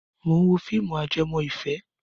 Mò ń wo fíìmù ajẹmọ́ ìfẹ́